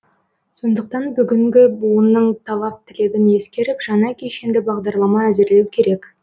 сондықтан бүгінгі буынның талап тілегін ескеріп жаңа кешенді бағдарлама әзірлеу керек